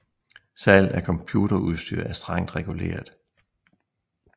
Salg af computerudstyr er strengt reguleret